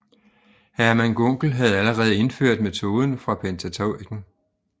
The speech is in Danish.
Hermann Gunkel havde allerede indført metoden for pentateuken